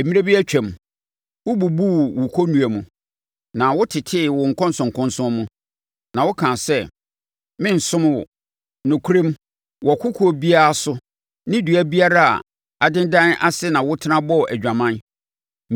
“Mmerɛ bi atwam, wobubuu wo kɔnnua mu, na wotetee wo nkɔnsɔnkɔnsɔn mu; na wokaa sɛ, ‘Merensom wo!’ Nokorɛm, wɔ kokoɔ biara so ne dua biara a adendan ase na wotena bɔɔ adwaman.